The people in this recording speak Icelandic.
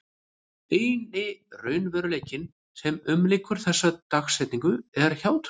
Eini raunveruleikinn sem umlykur þessa dagsetningu er hjátrúin.